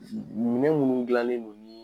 Minɛn munnu dilanen don ni.